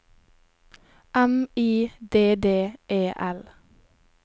M I D D E L